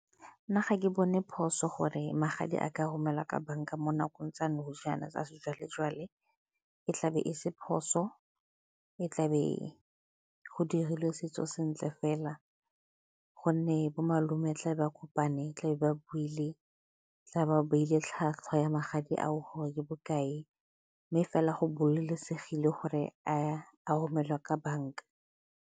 Nna ga ke bone phoso gore magadi a ka romela ka banka mo nakong tsa nogana tsa sejwale-jwale. E tlabe e se phoso, e tlabe go dirilwe setso sentle fela gonne bomalome tlabe ba kopane, tla be ba buile, tla ba beile tlhwatlhwa ya magadi ao gore ke bokae mme fela go gore a romelwa ka banka.